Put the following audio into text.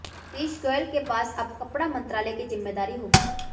पीयूष गोयल के पास अब कपड़ा मंत्रालय की जिम्मेदारी होगी